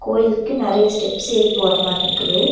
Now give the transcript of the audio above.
கோயிலுக்கு நெறைய ஸ்டெப்ஸ் ஏறி போற மாரிருக்குது.